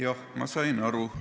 Jah, ma sain aru.